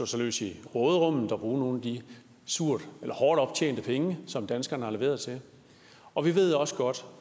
sig løs i råderummet og bruge nogle af de hårdt optjente penge som danskerne har leveret til det og vi ved også godt